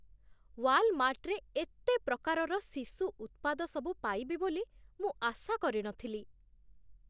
ୱାଲମାର୍ଟରେ ଏତେ ପ୍ରକାରର ଶିଶୁ ଉତ୍ପାଦସବୁ ପାଇବି ବୋଲି ମୁଁ ଆଶା କରିନଥିଲି।